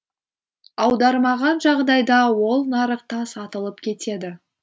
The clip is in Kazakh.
аудармаған жағдайда ол нарықта сатылып кетеді